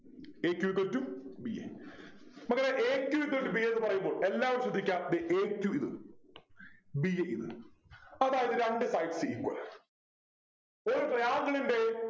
a q equal to b a മക്കളെ a q equal to b a എന്ന് പറയുമ്പോൾ എല്ലാവരും ശ്രദ്ധിക്ക ദേ a q ഇത് b a ഇത് അതായത് രണ്ടു sides equal ആ ഒരു Triangle ൻ്റെ